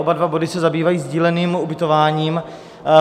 Oba dva body se zabývají sdíleným ubytováním.